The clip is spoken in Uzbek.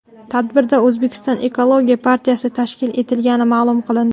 Tadbirda O‘zbekiston ekologik partiyasi tashkil etilgani ma’lum qilindi.